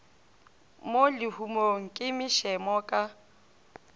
mo lehumong ke mašemo ka